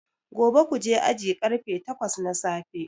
Gobe kuje aji karfe takwas na safe